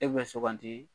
E bɛ sugandi